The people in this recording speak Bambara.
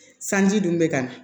Sanji dun bɛ ka na